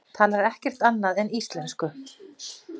Talar ekkert annað en íslensku!